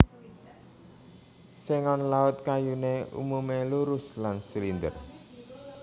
Sengon Laut kayuné umumé lurus lan silinder